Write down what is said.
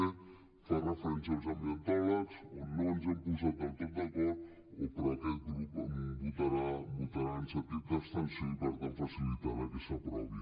b fa referència als ambientòlegs on no ens hem posat del tot d’acord però aquest grup votarà en sentit d’abstenció i per tant facilitarà que s’aprovi